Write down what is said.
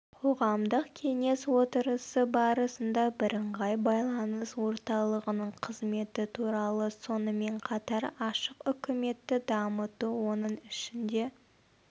қоғамдық кеңес отырысы барысында бірыңғай байланыс орталығының қызметі туралы сонымен қатар ашық үкіметті дамыту оның ішінде